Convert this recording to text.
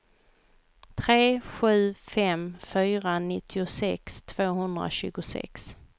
tre sju fem fyra nittiosex tvåhundratjugosex